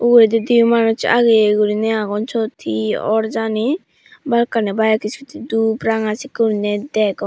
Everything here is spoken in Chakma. uredi dibe manus ageye guri agon sot he or jani balukkani bike scooty dub ranga seneke guri degong.